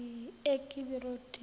ekibiroti